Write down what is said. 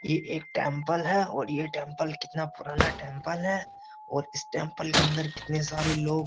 ये एक टेंपल है और ये टेंपल कितना पुराना टेंपल है और इस टेंपल के अंदर कितने सारे लोग --